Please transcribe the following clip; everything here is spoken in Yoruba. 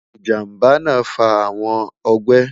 ijamba naa fa awọn ọgbẹ